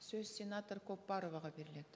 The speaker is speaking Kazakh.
сөз сенатор көпбароваға беріледі